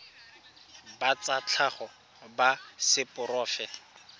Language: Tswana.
ba tsa tlhago ba seporofe